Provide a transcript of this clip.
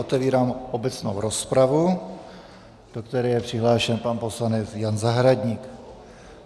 Otevírám obecnou rozpravu, do které je přihlášen pan poslanec Jan Zahradník.